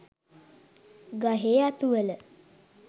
ගහේ අතුවල